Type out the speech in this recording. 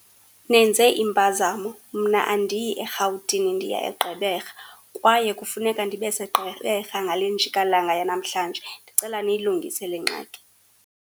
Nenze impazamo mna andiyi eRhawutini ndiya eGqeberha, kwaye kufuneka ndibeseGqeberha ngale njikalanga yanamhlanje. Ndicela niyilungise le ngxaki.